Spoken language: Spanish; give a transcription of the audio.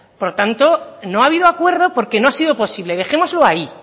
por tanto no ha habido acuerdo porque no ha sido posible dejémoslo ahí